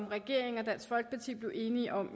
regeringen og dansk folkeparti blev enige om